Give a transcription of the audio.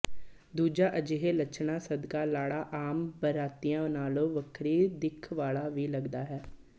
ਦੂਜਾ ਅਜਿਹੇ ਲੱਛਣਾਂ ਸਦਕਾ ਲਾੜਾ ਆਮ ਬਰਾਤੀਆਂ ਨਾਲੋਂ ਵੱਖਰੀ ਦਿਖ ਵਾਲਾ ਵੀ ਲਗਦਾ ਹੈ